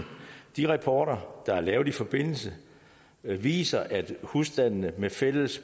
de rapporter der er lavet i den forbindelse viser at husstandene med fælles